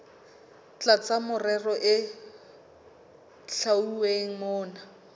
tlasa merero e hlwauweng mona